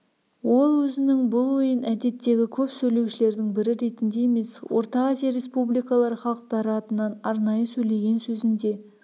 ол өзінің бұл ойын әдеттегі көп сөйлеушілердің бірі ретінде емес орта азия республикалары халықтары атынан арнайы сөйлеген сөзінде